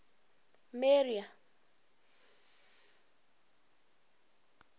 maria